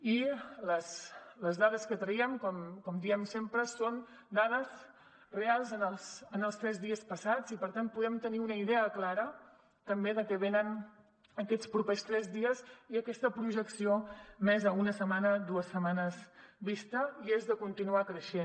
i les dades que traiem com diem sempre són dades reals en els tres dies passats i per tant podem tenir una idea clara també de què ve en aquests propers tres dies i aquesta projecció més a una setmana dues setmanes vista i és de continuar creixent